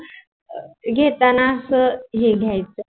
घेताना अस हे घ्यायच.